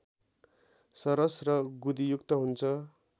सरस र गुदीयुक्त हुन्छ